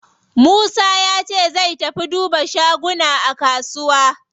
Musa yace zai tafi duba shaguna a kusuwa.